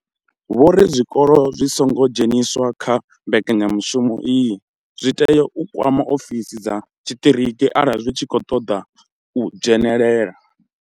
Vho ri zwikolo zwi songo dzheniswaho kha mbekanyamushumo iyi zwi tea u kwama ofisi dza tshiṱiriki arali zwi tshi khou ṱoḓa u dzhenelela.